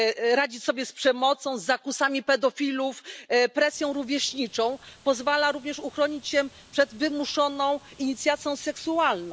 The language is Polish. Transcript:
radzić sobie z przemocą, zakusami pedofilów, presją rówieśniczą, pozwala również uchronić się przed wymuszoną inicjacją seksualną.